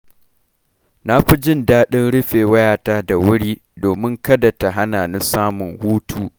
Na fi jin daɗin rufe wayata da wuri, domin kada ta hana ni samun hutu.